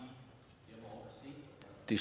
det